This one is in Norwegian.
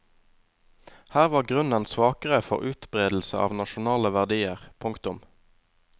Her var grunnen svakere for utbredelse av nasjonale verdier. punktum